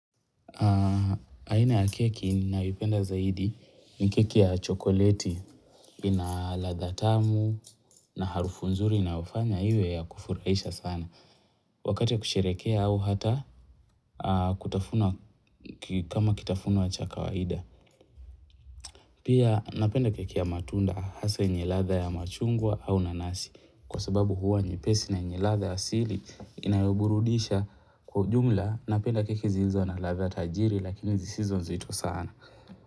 Aina ya keki ninayoipenda zaidi ni keki ya chokoleti ina ladha tamu na harufu nzuri inayofanya iwe ya kufurahisha sana. Wakati wa kusherehekea au hata kutafuna kama kitafunwa cha kawaida. Pia napenda keki ya matunda hasa yenyeladha ya machungwa au nanasi. Kwa sababu huwa ni nyepesi na yenyeladha ya asili inayoburudisha kwa ujumla napenda keki zilzo na ladha tajiri lakini zisizo nzito sana.